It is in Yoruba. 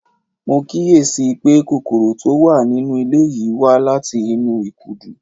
Mo kíyè sí i pé kòkòrò tó wà nínú ilé yìí wá láti inú ìkùdu